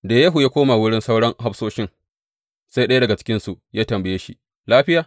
Da Yehu ya koma wurin sauran hafsoshin sai ɗaya daga cikinsu ya tambaye shi, Lafiya?